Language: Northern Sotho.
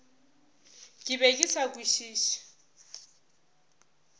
ke be ke sa kwešiše